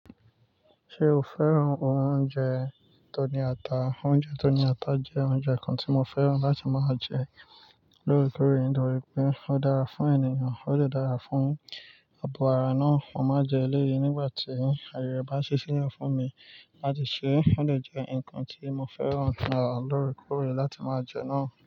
Ṣé o fẹ́ràn oúnjẹ tó ní ata? Oúnjẹ tó ní ata jẹ́ oúnjẹ kan tí mo fẹ́ràn láti máa jẹ lóòrèkóòrè nítorí pé ó dára fún ènìyàn, ó sì dára fún abo ara náà. Mo máa jẹ éléyìí nígbà tí ayẹ bá ṣíle fún mi láti ṣe, ó de jẹ́ ǹkan tí mo fẹ́ràn lóòrèkóòrè láti máa jẹ náà.